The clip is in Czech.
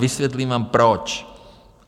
Vysvětlím vám, proč.